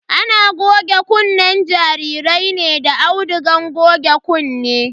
Ana goge kunnen jarirai ne da audugan goge kunne.